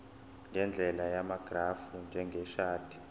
ngendlela yamagrafu njengeshadi